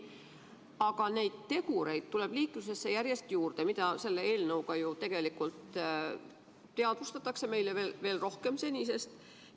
Aga neid tegureid, mida selle eelnõuga ju tegelikult teadvustatakse meile senisest veel rohkem, tuleb liiklusesse järjest juurde.